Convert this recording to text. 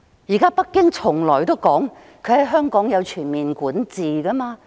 現在北京表示在香港有全面管治權。